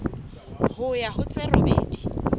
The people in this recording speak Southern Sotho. ho ya ho tse robedi